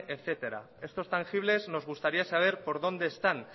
etcétera estos tangibles nos gustaría saber por dónde están